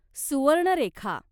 Subarnarekha